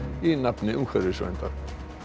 í nafni umhverfisverndar